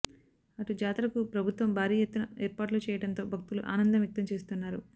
అటు జాతరకు ప్రభుత్వం భారీ ఎత్తున ఏర్పాట్లు చేయటంతో భక్తులు ఆనందం వ్యక్తం చేస్తున్నారు